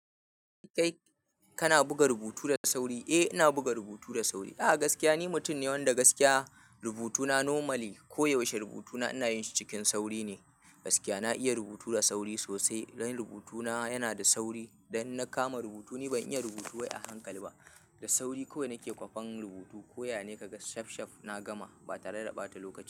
Kai kana buga rubutu da sauri? Eh ina buga rubutu da sauri. A gaskiya ni mutum ne wanda gaskiya rubutuna normally koyaushe rubutuna inayin su cikin sauri ne. Gaskiya na iya rubutu da sauri sosai. Dan rubutuna yana da sauri. Dan in na kama rubutu ni ban iya rubutu wai a hankali ba. Da sauri kawai nake kwafen rubutu koya ne kaga safsaf na gama ba tare da ɓata lokaci ba.